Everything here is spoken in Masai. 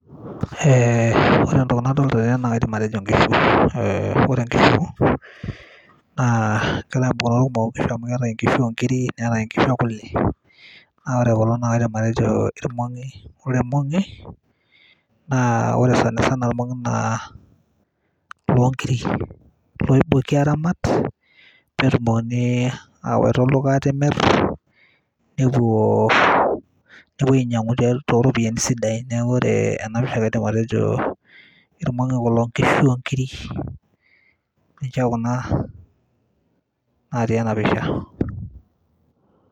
Eee ore entoki nadol tene naa kaidim atejo nkishu, ore nkishu, naa kera tofauti amu keetae nkishu oo nkiri, neetae nkishu ekule, naa ore kulo naa kaidim atejo ilmongi, ore ilmongi, naa ore sanisana ilmongi naa iloonkiri, iloootoki aaramat netumokini aawaita olduka aatimir, nepuo ainyiangu too ropiyiani sidan. neeku ore ena pisha kaidim atejo ilmongi kulo nkishu oo nkiri ninche Kuna natii ena pisha.